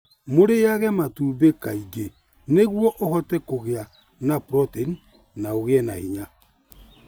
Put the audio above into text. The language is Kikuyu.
Mũrĩage matumbĩ kaingĩ nĩguo ũhote kũgĩa na proteini na ũgĩe na hinya.